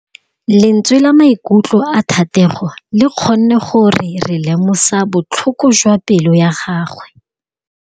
Lentswe la maikutlo a Thategô le kgonne gore re lemosa botlhoko jwa pelô ya gagwe.